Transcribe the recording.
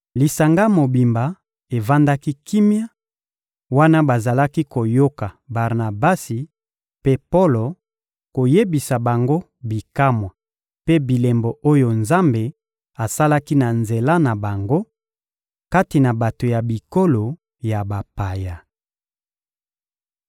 Lisanga mobimba evandaki kimia wana bazalaki koyoka Barnabasi mpe Polo koyebisa bango bikamwa mpe bilembo oyo Nzambe asalaki na nzela na bango, kati na bato ya bikolo ya bapaya.